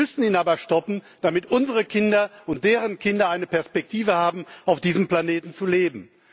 Wir müssen ihn aber stoppen, damit unsere Kinder und deren Kinder eine Perspektive haben, auf diesem Planeten zu leben.